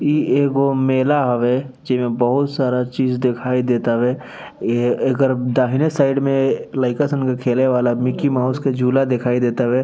इ एगो मेला हवे जेमें बहुत सारा चीज दिखाई देतावे एकर दाहिने साइड में लईका सन के खेले वाला मिकी माउस के झूला दिखाई देतावे।